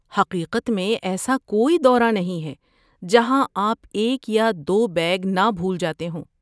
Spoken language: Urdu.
حقیقت میں ایسا کوئی دورہ نہیں ہے جہاں آپ ایک یا دو بیگ نہ بھول جاتے ہوں؟